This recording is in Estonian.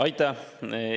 Aitäh!